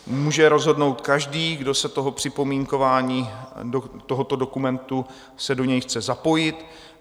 Může rozhodnout každý, kdo se do připomínkování tohoto dokumentu chce zapojit.